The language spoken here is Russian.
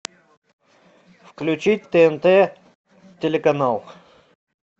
включить тнт телеканал